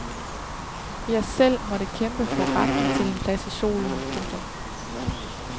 Vi har selv måttet kæmpe for retten til en plads i solen. punktum